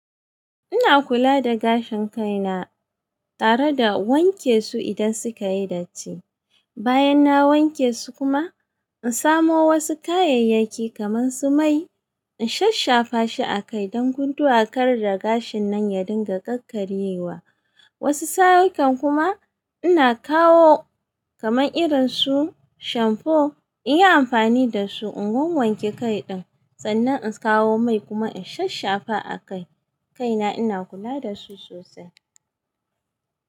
Ina kula da gashin kaina tare da wanke su idan suka yi datti. Bayan na wanke su kuma, in samo wasu kayayyaki kamar su mai, in shashshafa shi a kai don gunduwa kar da gashin nan ya dinga ƙarƙaryewa. Wasu sa ikan kuma ina kawo kamar irin su shamfo, in yi amfani da su in wanwanke kai ɗin. Sannan in kawo mai kuma in shaffafa a kai. Kaina ina kula da su sosai.